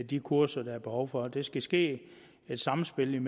de kurser der er behov for det skal ske i et samspil